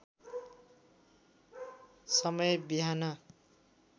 समय बिहान